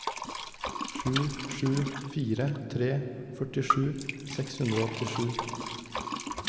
sju sju fire tre førtisju seks hundre og åttisju